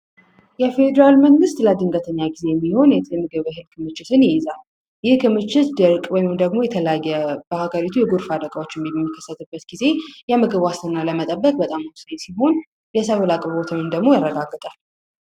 የፌደራል መንግስት ልጅ ግርግዜ የሚሆን የምግብ ክምችት ይይዛል። ይህ ክምችት ድርቅ ወይም ደግሞ በሀገሪቱ የተለያዩ የጎርፍ አደጋዎች በሚከሰቱበት ጊዜ የምግብ ዋስትናን ለመጠበቅ በጣም ወሳኝ ሲሆን የሰብል አቅርቦትን ደግሞ ያረጋግጣል።